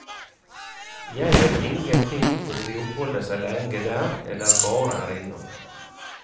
Jeg vet ingenting om de oppholder seg lenge der, eller bare er innom.